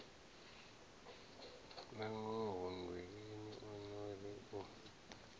nangoho nndweleni o ri u